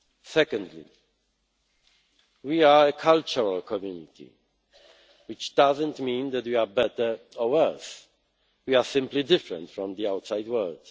MFF. Secondly, we are a cultural community, which does not mean that we are better or worse we are simply different from the outside